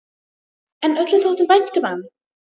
En öllum þótti vænt um hann.